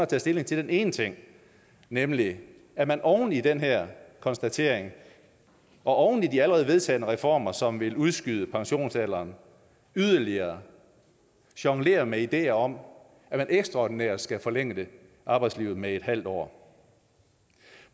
tager stilling til den ene ting nemlig at man oven i den her konstatering og oven i de allerede vedtagne reformer som vil udskyde pensionsalderen yderligere jonglerer med ideer om at man ekstraordinært skal forlænge arbejdslivet med en halv år